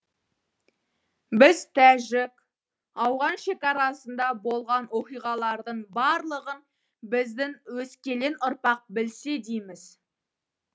біз тәжік ауған шекарасында болған оқиғалардың барлығын біздің өскелең ұрпақ білсе дейміз